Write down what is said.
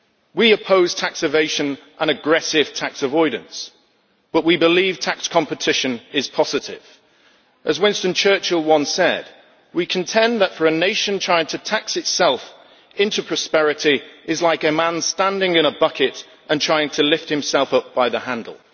We oppose tax evasion and aggressive tax avoidance, but we believe tax competition is positive. As Winston Churchill once said, we contend that for a nation trying to tax itself into prosperity is like a man standing in a bucket and trying to lift himself up by the handle'.